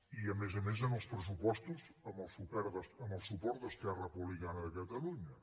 i a més a més en els pressupostos amb el suport d’esquerra republicana de catalunya